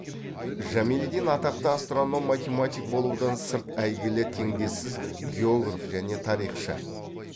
жамелиддин атақты астроном математик болудан сырт әйгілі теңдессіз географ және тарихшы